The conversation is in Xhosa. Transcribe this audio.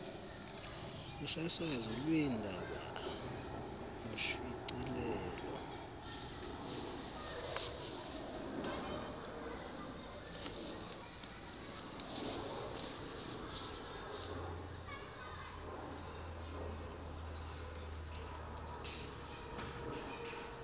kusasazo lweendaba ngoshicilelo